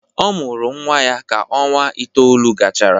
Ọ mụrụ nnwa ya ka ọnwa itoolu gachara.